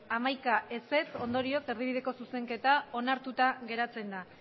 hamaika ondorioz erdibideko zuzenketa onartuta geratzen da